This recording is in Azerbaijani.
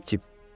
Cıp-cip.